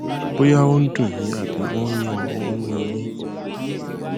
bóyá ó ń dùn yín àbí ó ń yún ó ń yún un yín